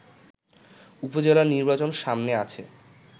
উপজেলা নির্বাচন সামনে আছে